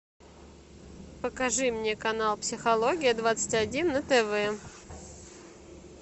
покажи мне канал психология двадцать один на тв